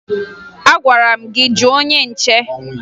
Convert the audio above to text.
Agwara m gị jụọ onye nche!